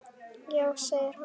Já segir hann.